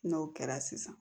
N'o kɛra sisan